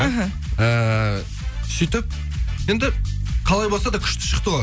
мхм эээ сөйтіп енді қалай болса да күшті шықты ғой